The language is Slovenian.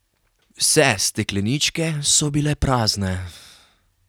Vse stekleničke so bile prazne.